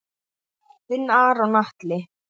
Þinn Aron Atli.